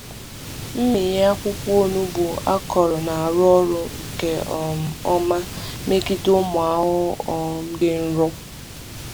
Mmịnye akwụkwọ onugbu akọrọ na-arụ ọrụ nke um ọma megide ụmụ ahụhụ um dị nro.